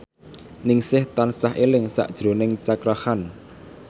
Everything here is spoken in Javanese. Ningsih tansah eling sakjroning Cakra Khan